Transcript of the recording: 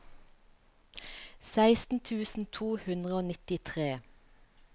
seksten tusen to hundre og nittitre